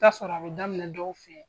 Taa sɔrɔ a bi daminɛ dɔw sen